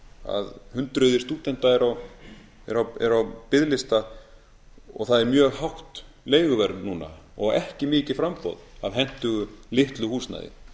að hundruð stúdenta eru á biðlista og það er mjög hátt leiguverð núna og ekki mikið framboð af hentugu litlu húsnæði